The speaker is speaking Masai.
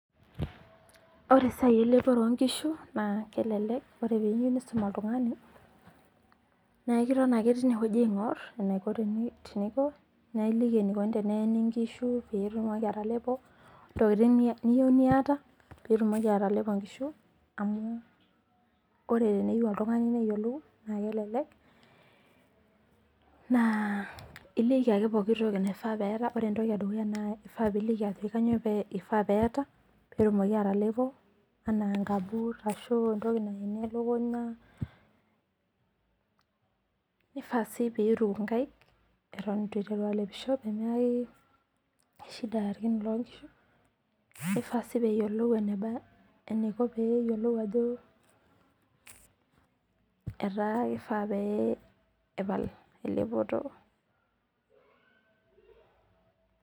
Wore esiai elepore oonkishu naa kelelek, wore peeyiou niisum oltungani, naa ekiton ake teniewoji aingorr enaiko teninko. Naa iliki enikuni teneeni inkishu pee etumoki atelepo, intokitin niyieu niata pee etumoki atelepo inkishu amu wore peeyiou oltungani neyiolou naa kelelek. Naa iliki ake pookin toki naifaa pee eata wore entoki edukuya naa kifaa piiliki ajoki kainyoo ifaa peeta peetumoki atelepo, enaa ingaboot arashu entoki nayenie elukunya, nifaa sii pee ituku inkaik, eton itu iteru alepisho peemeaki shida irkin loonkishu, nifaa sii peeyiolou eniko peeyiolou ajo etaa kifaa pee epal elepoto